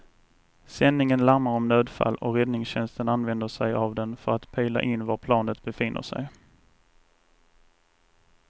Sändningen larmar om nödfall och räddningstjänsten använder sig av den för att pejla in var planet befinner sig.